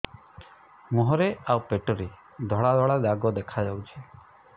ମୁହଁରେ ଆଉ ପେଟରେ ଧଳା ଧଳା ଦାଗ ଦେଖାଯାଉଛି